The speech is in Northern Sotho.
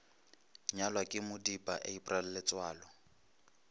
nyalwa ke modipa april letsoalo